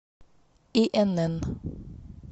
инн